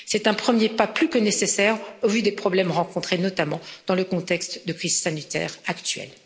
C'est un premier pas plus que nécessaire au vu des problèmes rencontrés, notamment dans le contexte de crise sanitaire actuelle.